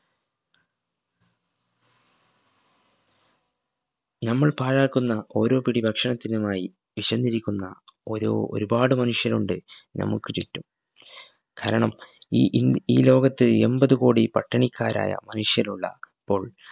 നമ്മൾ പാഴാക്കുന്ന ഓരോ പിടി ഭക്ഷണത്തിനുമായി വിശന്നിരിക്കുന്ന ഓരോ ഒരുപാടു മനുഷ്യരുണ്ട് നമുക്ക് ചുറ്റും കാരണം ഈ ഇൻ ഈ ലോകത്ത്‌ എമ്പതു കോടി പട്ടിണിക്കാരായ മനുഷ്യരുള്ള പ്പോൾ